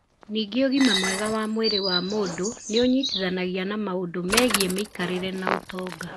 Ningĩ ũgima mwega wa mwĩrĩ wa mũndũ nĩ ũnyitithanagia na maũndũ megiĩ mĩikarĩre na ũtonga.